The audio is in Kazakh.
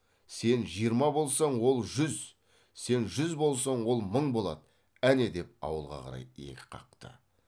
сен жиырма болсаң ол жүз сен жүз болсаң ол мың болады әне деп ауылға қарай иек қақты